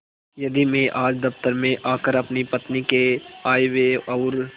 यदि मैं आज दफ्तर में आकर अपनी पत्नी के आयव्यय और